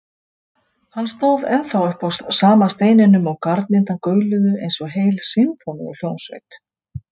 Hann stóð ennþá uppi á sama steininum og garnirnar gauluðu eins og heil sinfóníuhljómsveit.